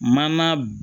Mana